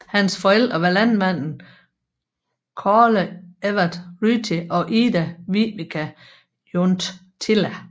Hans forældre var landmanden Kaarle Evert Ryti og Ida Vivika Junttila